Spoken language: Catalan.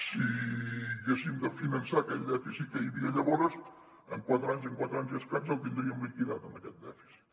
si haguéssim de finançar aquell dèficit que hi havia llavors en quatre anys en quatre anys i escaig el tindríem liquidat aquest dèficit